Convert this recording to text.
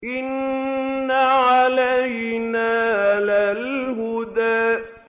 إِنَّ عَلَيْنَا لَلْهُدَىٰ